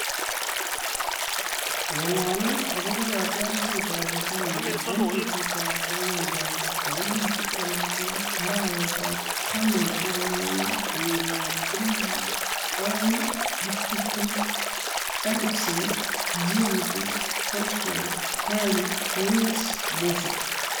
Ng'alalet akobo kotiorsetab bitonin eng betutab kwang'wan kasi tarik tiptem ak lo, arawetab taman ak agenge , kenyitab elebu oeng ak tiptem: Eriksen, Giroud, Szoboszlai, Alli, Winks, Musa